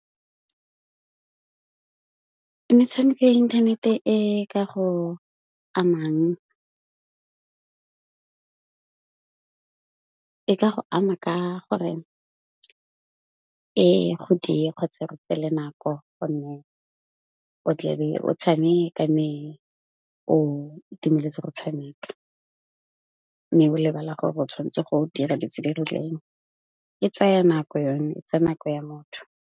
Metshameko ya inthanete e ka go amang e ka go ama ka gore e go diye kgotsa e go tseele nako go nne, o tle be o tshameka mme o itumeletse go tshameka mme o lebala gore o tshwanetse go dira dilo tse di rileng. E tsaya nako yone, e tsaya nako ya motho.